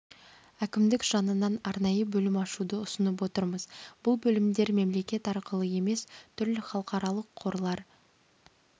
әкімдік жанынан арнайы бөлім ашуды ұсынып отырмыз бұл бөлімдер мемлекет арқылы емес түрлі халықаралық қорлар